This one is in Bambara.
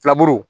Filaburu